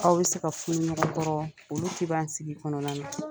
Aw bɛ se ka funu ɲɔgɔn kɔrɔ olu' tɛ ban sigi kɔnɔna na